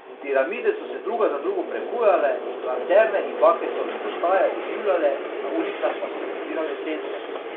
Piramide so se druga za drugo prebujale, lanterne in bakle so migotaje oživljale, na ulicah pa so se zbirale sence.